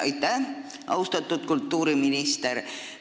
Aitäh, austatud kultuuriminister!